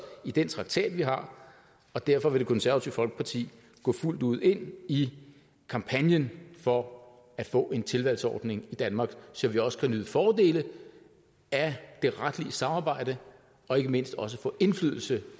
i den traktat vi har og derfor vil det konservative folkeparti gå fuldt ud ind i kampagnen for at få en tilvalgsordning i danmark så vi også kan nyde fordele af det retlige samarbejde og ikke mindst også få indflydelse